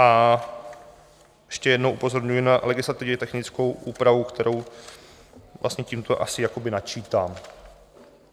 A ještě jednou upozorňuji na legislativně technickou úpravu, kterou vlastně tímto asi jakoby načítám.